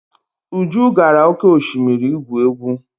Uju gara oke osimiri igwu egwu.